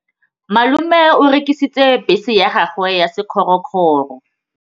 Malome o rekisitse bese ya gagwe ya sekgorokgoro.